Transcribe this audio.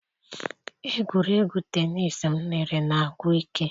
Egwuregwu tenis m lere na-agwụ ike.